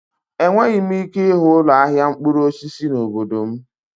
Enweghị m ike ịhụ ụlọ ahịa mkpụrụ osisi n'obodo m.